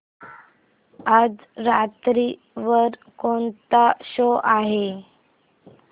आज रात्री वर कोणता शो आहे